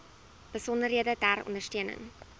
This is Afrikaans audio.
besonderhede ter ondersteuning